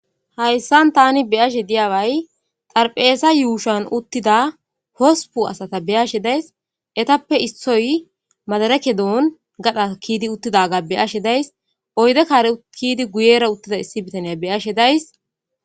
hayssan tani beyashe diyagey xarpheesa yuushan uttida hosupu asata be ashe days etappe issoy madarakedoon gadha kiidi uttidaga be ashe days oyde kaare kiidi guyera uttida issi bitaniya be ashe days